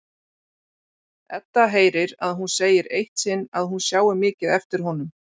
Edda heyrir að hún segir eitt sinn að hún sjái mikið eftir honum.